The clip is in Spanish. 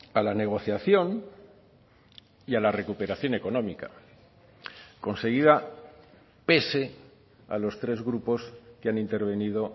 a la negociación y a la recuperación económica conseguida pese a los tres grupos que han intervenido